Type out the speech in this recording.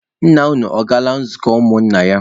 Nna unu ọ gawala nzukọ ụmụ nna ya?